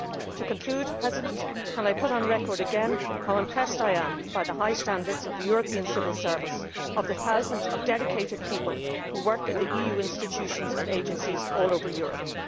To conclude, can I put on record again how impressed I am by the high standards of the European civil service, the thousands of dedicated people who work in the EU institutions and agencies all over Europe?